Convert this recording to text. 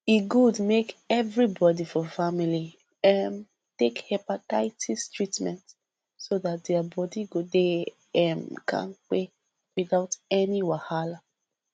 e good make everybody for family um take hepatitis treatment so that their body go dey um kampe without any wahala